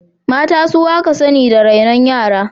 Mata su aka sani da rainon yara.